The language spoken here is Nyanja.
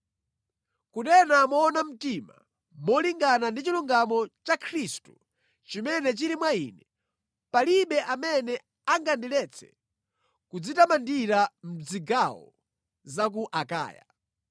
Kunena moona mtima molingana ndi chilungamo cha Khristu chimene chili mwa ine, palibe amene angandiletse kudzitamandira mʼzigawo za ku Akaya.